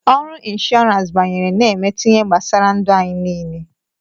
Ọrụ Inshọransi banyere na-emetụ ihe gbasara ndu anyị niile.